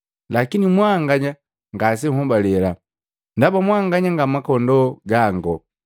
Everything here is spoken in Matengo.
Lakini mwanganya ngasenhobale, ndaba mwanganya nga makondoo gango.